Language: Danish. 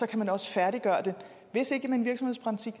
kan man også færdiggøre den hvis ikke med en virksomhedspraktik